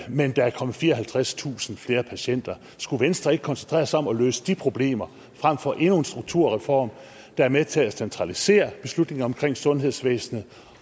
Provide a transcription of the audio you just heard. men at der er kommet fireoghalvtredstusind flere patienter skulle venstre ikke koncentrere sig om at løse de problemer frem for endnu en strukturreform der er med til at centralisere beslutninger omkring sundhedsvæsenet